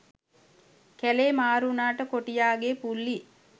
කැලේ මාරු උනාට කොටියාගේ පුල්ලි